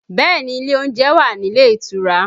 Bẹẹ ni, ilé oúnjẹ wà nílé ìtura